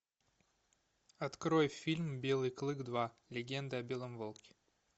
открой фильм белый клык два легенда о белом волке